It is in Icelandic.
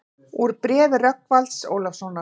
Úr bréfi Rögnvalds Ólafssonar